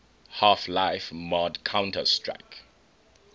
half life mod counter strike